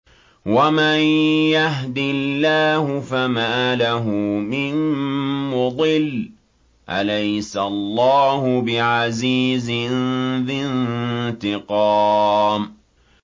وَمَن يَهْدِ اللَّهُ فَمَا لَهُ مِن مُّضِلٍّ ۗ أَلَيْسَ اللَّهُ بِعَزِيزٍ ذِي انتِقَامٍ